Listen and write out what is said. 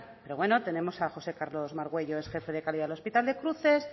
pero bueno tenemos a josé carlos margüello ex jefe de calidad del hospital de cruces